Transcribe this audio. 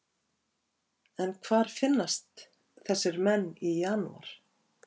En hvar finnast þessir menn í janúar?